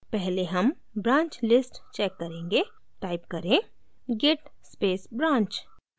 पहले हम branch list check करेंगे टाइप करें git space branch